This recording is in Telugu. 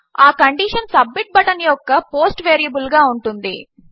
ఆ కండీషన్ సబ్మిట్ బటన్ యొక్క పోస్ట్ వేరియబుల్ గా ఉంటుంది